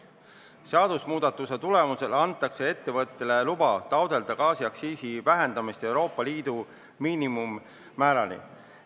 Seadusemuudatuse tulemusel antakse ettevõtetele luba taotleda gaasiaktsiisi vähendamist Euroopa Liidu miinimummäärani.